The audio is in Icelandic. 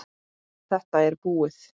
Þetta er búið